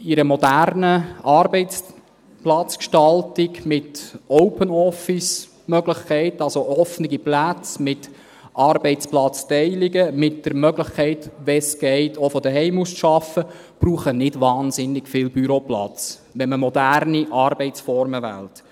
Eine moderne Arbeitsplatzgestaltung mit OpenOffice-Möglichkeiten – also offene Plätze mit Arbeitsplatzteilungen, mit der Möglichkeit, wenn es geht, auch von zu Hause aus zu arbeiten – braucht nicht wahnsinnig viel Büroplatz, wenn man moderne Arbeitsformen wählt.